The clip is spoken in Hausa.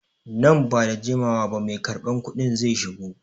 Nan ba da jimawa ba mai karban kuɗin zai shigo.